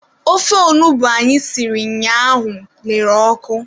Ofe onugbu anyị siri ụnyaahụ lere ọkụ.